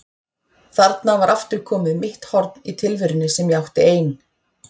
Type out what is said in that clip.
Þarna var aftur komið mitt horn í tilverunni sem ég átti ein.